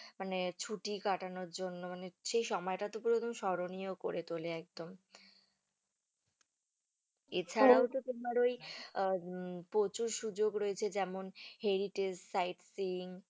মানে ছুটি কাটানোর জন্য মানে সেই সময়টুকু আর কি স্মরণীয় করে তোলে একদম এছাড়াও, তোমার ওই আহ প্রচুর সুযোগ রয়েছে যেমন heritage side scene